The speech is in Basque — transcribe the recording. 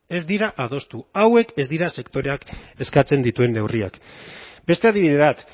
ez dira adostu hauek ez dira sektoreak eskatzen dituen neurriak beste adibide bat